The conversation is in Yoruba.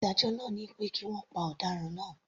Ìdájọ́ náà ni pé kí wọ́n pa ọ̀daràn náà.